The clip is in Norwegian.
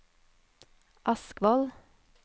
Askvoll